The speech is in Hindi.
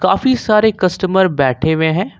काफी सारे कस्टमर बैठे हुए हैं।